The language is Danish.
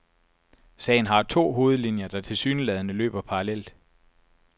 Sagen har to hovedlinjer, der tilsyneladende løber parallelt.